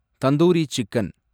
tandoori chicken